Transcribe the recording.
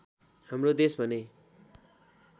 हाम्रो देश भने